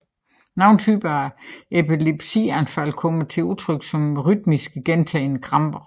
Nogle typer af epilepsianfald kommer til udtrykt som rytmiske gentagne kramper